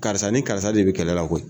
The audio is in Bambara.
Karisa ni karisa de bɛ kɛlɛ la koyi